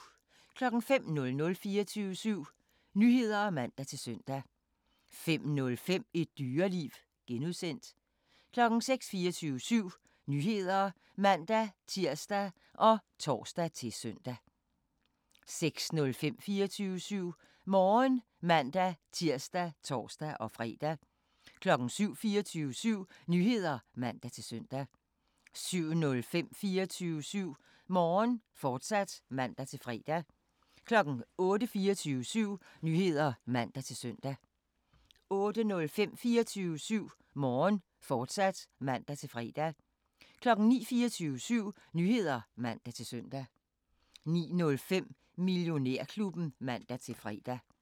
05:00: 24syv Nyheder (man-søn) 05:05: Et Dyreliv (G) 06:00: 24syv Nyheder (man-tir og tor-søn) 06:05: 24syv Morgen (man-tir og tor-fre) 07:00: 24syv Nyheder (man-søn) 07:05: 24syv Morgen, fortsat (man-fre) 08:00: 24syv Nyheder (man-søn) 08:05: 24syv Morgen, fortsat (man-fre) 09:00: 24syv Nyheder (man-søn) 09:05: Millionærklubben (man-fre)